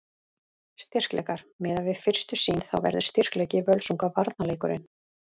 Styrkleikar: Miðað við fyrstu sýn þá verður styrkleiki Völsunga varnarleikurinn.